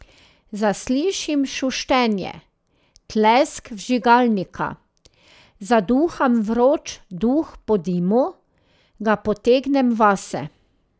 Zaslišim šuštenje, tlesk vžigalnika, zaduham vroč duh po dimu, ga potegnem vase.